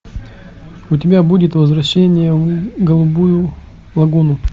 у тебя будет возвращение в голубую лагуну